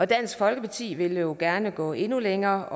dansk folkeparti ville jo gerne gå endnu længere